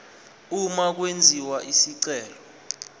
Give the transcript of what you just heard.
uma kwenziwa isicelo